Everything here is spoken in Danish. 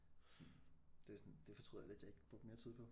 Sådan det sådan det fortryder jeg lidt jeg ikke brugte mere tid på